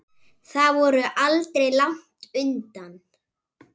Þau voru aldrei langt undan.